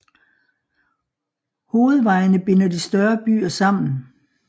Hovedvejene binder de større byer sammen